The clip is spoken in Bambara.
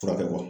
Furakɛ